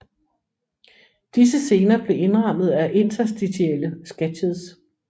Disse scener blev indrammet af interstitielle sketches